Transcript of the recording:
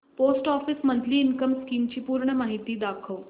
post office monthly income scheme ची पूर्ण माहिती दाखव